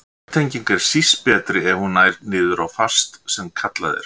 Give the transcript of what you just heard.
Jarðtenging er síst betri ef hún nær niður á fast sem kallað er.